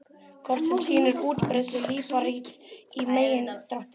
Kort sem sýnir útbreiðslu líparíts í megindráttum.